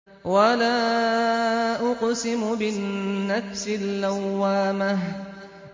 وَلَا أُقْسِمُ بِالنَّفْسِ اللَّوَّامَةِ